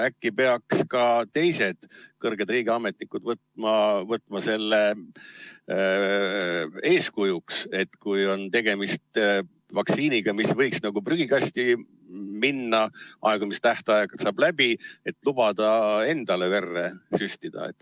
Äkki peaks ka teised kõrged riigiametnikud võtma eeskujuks, et kui on tegemist vaktsiiniga, mis võib muidu prügikasti minna, sest aegumistähtaeg saab läbi, siis lubada see endale verre süstida.